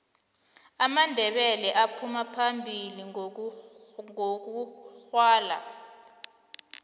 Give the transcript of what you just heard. amandebele aphuma phambili ngokugwala